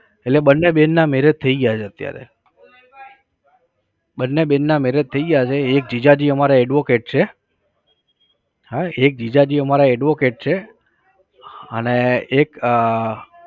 એટલે બન્ને બેનના marriage થઇ ગયા છે અત્યારે. બન્ને બેનના marriage થઈ ગયા છે. એક જીજાજી અમારે advocate છે. હં એક જીજાજી અમારે advocate છે. અને એક